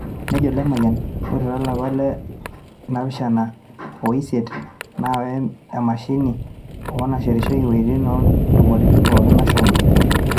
nejo Lemayian, ore to lapa le napishana o le isiet naawa emashini ai nasirishoreki wuejitin o ntumoritin pookin nashomo.